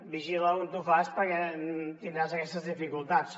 vigila on ho fas perquè tindràs aquestes dificultats